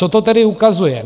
Co to tedy ukazuje?